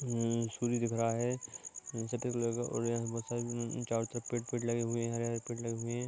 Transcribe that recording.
हम्म सूर्य दिख रहा है संतरे कलर का और यहाँ बहुत सारे चारो तरफ पेड़ पेड़ लगे हुए हैं हरे हरे पेड़ लगे हुए हैं ।